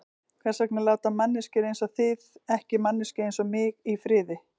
Hvers vegna láta manneskjur einsog þið ekki manneskju einsog mig í friði?